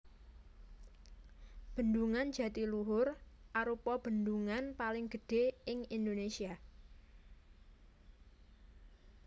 Bendungan Jatiluhur arupa bendungan paling gedhé ing Indonésia